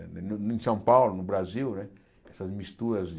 Em São Paulo, no Brasil né, essas misturas de...